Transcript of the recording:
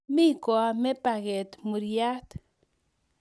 Mi koame paket muryat